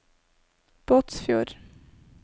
Båtsfjord